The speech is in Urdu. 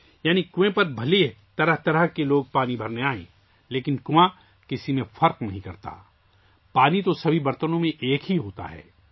یعنی کنویں پر اگرچہ طرح طرح کے لوگ پانی بھرنے کے لیے آتے ہیں لیکن کنواں کسی میں فرق نہیں کرتا، پانی تو سبھی برتنوں میں ایک ہی ہوتا ہے